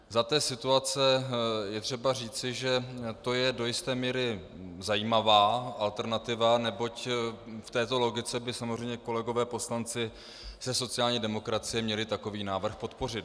Za té situace je třeba říci, že to je do jisté míry zajímavá alternativa, neboť v této logice by samozřejmě kolegové poslanci ze sociální demokracie měli takový návrh podpořit.